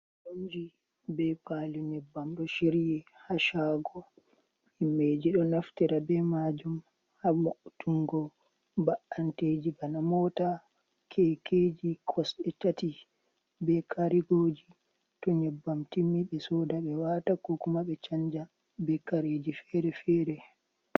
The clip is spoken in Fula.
Inji be palu nyebbam ɗo shiryi hashago. himbeji ɗo naftira be majum ha vo'utungo ba’anteji bana mota, kekeji kosɗe tati be karigoji. To nyebbam timmi be soda be wata kokumabe chanja be kareji fere-fere.